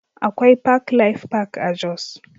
Akwai Park Life Park a Jos